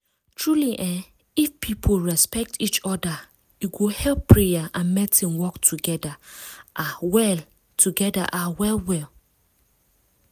truely eeh if people respect each oda e go help prayer and medicine work togeda ah well togeda ah well well.